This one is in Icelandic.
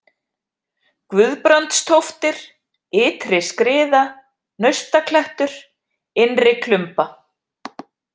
Guðbrandstóftir, Ytri-Skriða, Naustaklettur, Innri-Klumba